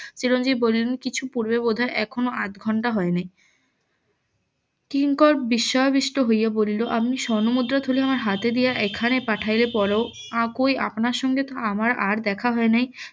চিরঞ্জিব বলিলেন কিছু পূর্বে বোধহয় এখনো আধ ঘন্টা হয় নাই কিংকর বিশ্ববিষ্ট হইয়া বলিল আমি স্বর্ণমুদ্রা থলি আমার হাতে দিয়া এখানে পাঠাইলে পড়ো আর কই আপনার সঙ্গে তো আমার আর দেখা হয় নাই